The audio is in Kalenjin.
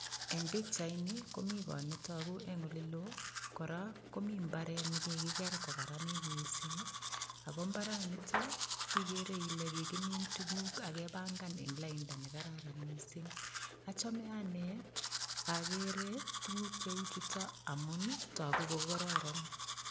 Engpichaini komi kot netagu eng olelo kora komi mbarat nekikiker kokararanit mising. aAko mbaranitok igere ile kikimin tukuk akepangan eng lainda ne kararan mising. achame ane agera tuguk cheu chutok amun togu kokororon.